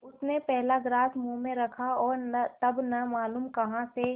उसने पहला ग्रास मुँह में रखा और तब न मालूम कहाँ से